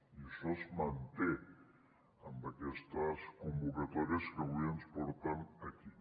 i això es manté amb aquestes convocatòries que avui ens porten aquí